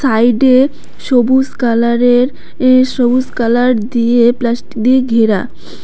সাইডে সবুজ কালারের এ সবুজ কালার দিয়ে প্লাস্টিক দিয়ে ঘেরা।